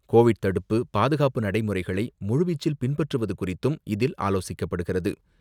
Covid தடுப்பு, பாதுகாப்பு நடைமுறைகளை முழுவீச்சில் பின்பற்றுவது குறித்தும் இதில் ஆலோசிக்கப்படுகிறது.